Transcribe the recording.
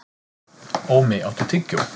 Ómi, áttu tyggjó?